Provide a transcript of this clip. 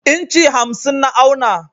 inci hamsin na auna.